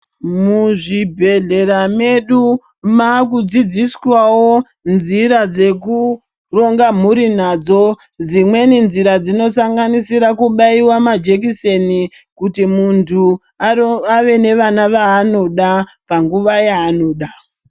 Muzvibhedhlera medu makudzidziswawo nzira dzekuronga mhuri nadzo dzimweni nzira dzinosanganisira kubaiwa majekiseni kuti muntu aro ave nevana vaanoda panguwa yaanoda.